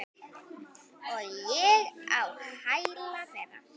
Og ég á hæla þeirra.